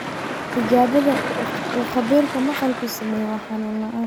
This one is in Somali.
Tijaabada uu khabiirka maqalku sameeyo waa xanuun la'aan.